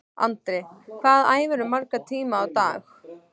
Andri: Hvað æfirðu marga tíma á dag?